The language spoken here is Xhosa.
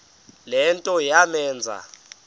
le nto yamenza